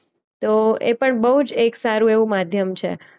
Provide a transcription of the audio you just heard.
તો એ પણ બોઉ જ એક સારું એવું માધ્યમ છે.